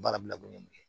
Baara bila kun ye mun ye